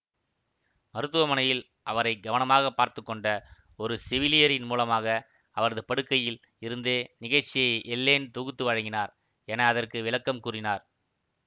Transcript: மருத்துவமனையில் அவரை கவனமாக பார்த்து கொண்ட ஒரு செவிலியரின் மூலமாக அவரது படுக்கையில் இருந்தே நிகழ்ச்சியை எல்லேன் தொகுத்து வழங்கினார் என அதற்கு விளக்கம் கூறினார்